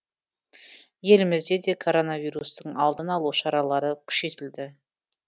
елімізде де коронавирустың алдын алу шаралары күшейтілді